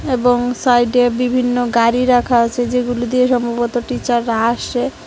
এবং সাইড এ বিভিন্ন গাড়ি রাখা আছে যেগুলো দিয়ে সম্ভবত টিচার রা আসে।